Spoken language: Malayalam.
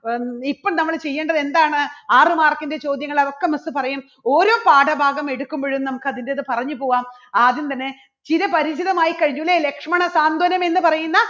ഹം ഇപ്പം നമ്മള് ചെയ്യേണ്ടത് എന്താണ് ആറ് mark ന്റെ ചോദ്യങ്ങള് അതൊക്കെ miss പറയും ഓരോ പാഠഭാഗം എടുക്കുമ്പോഴും നമുക്ക് അതിൻറെ ഇത് പറഞ്ഞു പോകാം ആദ്യം തന്നെ ചിരപരിചിതമായി കഴിഞ്ഞു ഇല്ലേ? ലക്ഷ്മണ സാന്ത്വനം എന്ന് പറയുന്ന